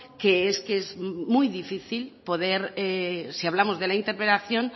que es que es muy difícil si hablamos de la interpelación